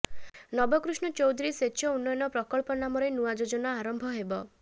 ନବକୃଷ୍ଣ ଚୌଧୁରୀ ସେଚ ଉନ୍ନୟନ ପ୍ରକଳ୍ପ ନାମରେ ନୂଆ ଯୋଜନା ଆରମ୍ଭ ହେବ